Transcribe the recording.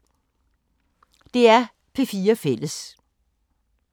DR P4 Fælles